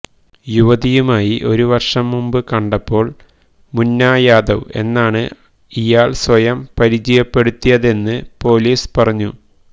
യുവതിയുമായി ഒരു വർഷം മുമ്പ് കണ്ടപ്പോൾ മുന്ന യാദവ് എന്നാണ് ഇയാൾ സ്വയം പരിചയപ്പെടുത്തിയതെന്ന് പൊലീസ് പറഞ്ഞു